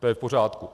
To je v pořádku.